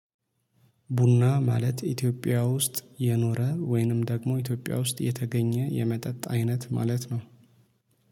ቡና ማለት ኢትዮጵያ ውስጥ የኖረ ወይንም ደግሞ ኢትዮጵያ ውስጥ የተገኘ የመጠጥ አይነት ማለት ነው